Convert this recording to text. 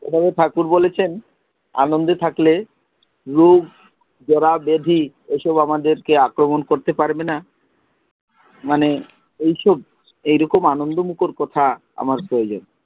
এভাবে ঠাকুর বলেছেন, আনন্দে থাকলে রোগ জড়া ব্যাধি এইসব আমাদের কে আক্রমণ করতে পারবে না। মানে এইসব, এইরকম আনন্দমুখর কথা আমার প্রয়োজন।